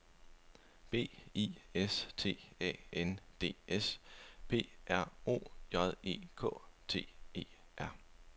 B I S T A N D S P R O J E K T E R